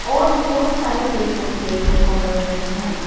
और बहोत सारे पेड़ पौधे देखने को मिल रहे हैं।